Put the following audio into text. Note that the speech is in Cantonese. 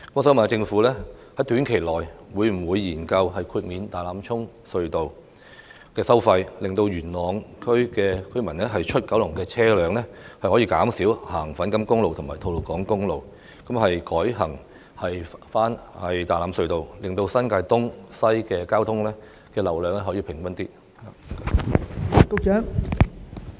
請問政府在短期內會否研究豁免大欖隧道的收費，讓由元朗前往九龍的車輛可以減少使用粉錦公路和吐露港公路，改為取道大欖隧道，使新界東及新界西的交通流量分布更平均呢？